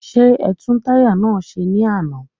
Ṣé ẹtún táyà náà ṣe ní àná?